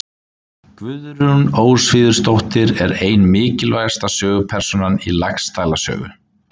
Guðrún Ósvífursdóttir er ein mikilvægasta sögupersónan í Laxdæla sögu.